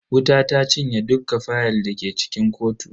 Wuta ta cinye dukka fayal dake cikin kotun.